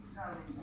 Görüşmək.